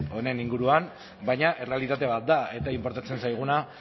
honen inguruan baina errealitate bat da eta inportatzen zaiguna